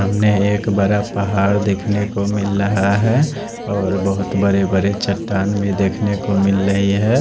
सामने को एक बड़ा पहाड़ देख नेको मिल रहा है और बहुत बड़े बड़े चट्टान भी देख नेको मिल रहे है।